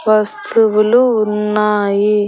వస్తువులు ఉన్నాయి.